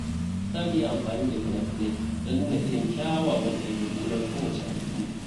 Za mu yi amfani da fina-finai don nuna irin kyawawan dabi’u na kowace al’umma.